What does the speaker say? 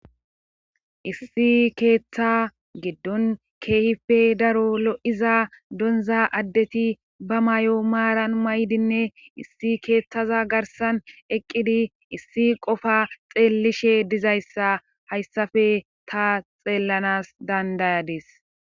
issi keeththa geddon keehife daro lo7iza donza addeti ba may7o maaran maydinne issi keeththaza garsan eqqidi issi qofa xeellishe dizayssa hayssafe ta xeellanas dandayades